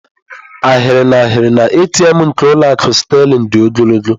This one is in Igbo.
Ahịrị n'ahịrị na ATM nke ụlọ akụ Sterling dị ogologo.